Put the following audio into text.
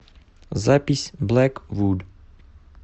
запись блэк вуд